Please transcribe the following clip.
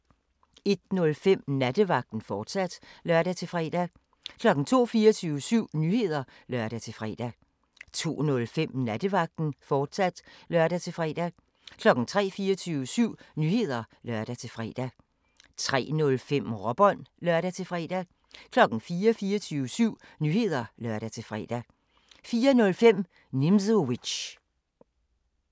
01:05: Nattevagten, fortsat (lør-fre) 02:00: 24syv Nyheder (lør-fre) 02:05: Nattevagten, fortsat (lør-fre) 03:00: 24syv Nyheder (lør-fre) 03:05: Råbånd (lør-fre) 04:00: 24syv Nyheder (lør-fre) 04:05: Nimzowitsch